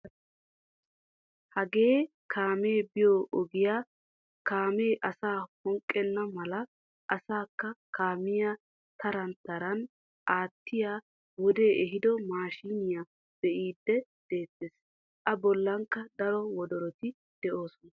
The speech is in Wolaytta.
Hagee kaamee biyoo ogiyaa kaamee asaa phonqqenna mala asaakka kaamiyaa taran taran attiyaa wodee ehiido maashiniyaa bee'idi de'eettees. A bollankka daro wodoroti de'oosona.